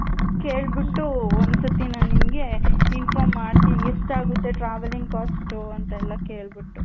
ಕೆಲ್ಬಿತ್ತು ಒಂದ್ ಸಲಿ ನನ್ ನಿಮ್ಮಗೆ inform ಮಾಡ್ತೀನಿ ಎಷ್ಟ್ ಆಗುತ್ತೆ travelling cost ಅಂತ ಎಲ್ಲಾ ಕೆಲ್ಬಿಟ್ಟು .